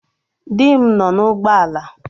Dị m nọ n'ụgbọ ala